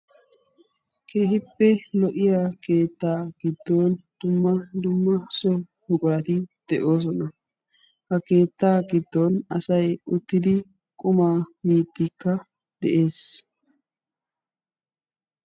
keehippe lo"iya keettaa giddon dumma dumma so buqurati de'oosona. ha keettaa giddon asay uttidi qumaa miiddikka de'es.